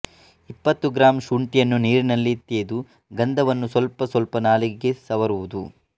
ಇಪ್ಪತ್ತು ಗ್ರಾಂ ಶುಂಠಿಯನ್ನು ನೀರಿನಲ್ಲಿ ತೇದು ಗಂಧವನ್ನು ಸ್ವಲ್ಪ ಸ್ವಲ್ಪ ನಾಲಿಗೆಗೆ ಸವರುವುದು